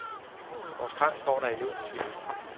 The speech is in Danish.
Vores kran står da endnu, siger hun.